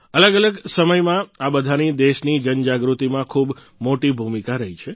અલગઅલગ સમયમાં આ બધાની દેશની જનજાગૃતિમાં ખૂબ મોટી ભૂમિકા રહી છે